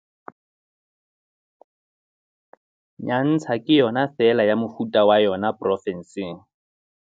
Nyantsha ke yona feela ya mofuta wa yona pro fenseng.